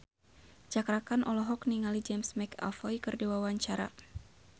Cakra Khan olohok ningali James McAvoy keur diwawancara